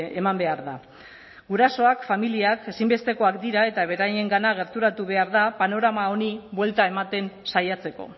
eman behar da gurasoak familiak ezinbestekoak dira eta beraiengana gerturatu behar da panorama honi buelta ematen saiatzeko